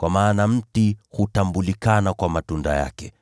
Kwa maana mti hutambulika kwa matunda yake.